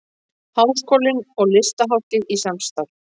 Háskólinn og Listahátíð í samstarf